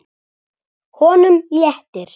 Honum léttir.